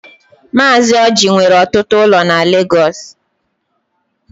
Mazi Ọji nwere ọtụtụ ụlọ na Lagos.